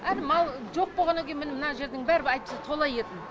әне мал жоқ болғаннан кейін міне мына жердің бәрі әйтпесе тола еді